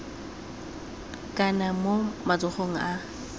ka nna mo matsogong a